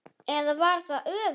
Eða var það öfugt?